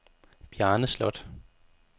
Bjarne Sloth